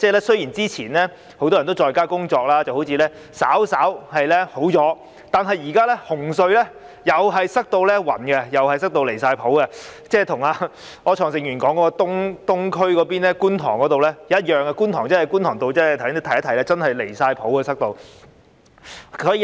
雖然之前很多人在家工作，情況好像稍為改善，但現時紅隧同樣擠塞得十分離譜，與柯創盛議員所說的東區或觀塘的情況一樣，觀塘道也是擠塞得十分離譜。